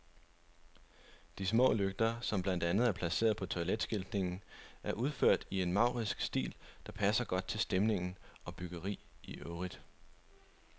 De små lygter, som blandt andet er placeret på toiletskiltningen, er udført i en maurisk stil, der passer godt til stemning og byggeri i øvrigt.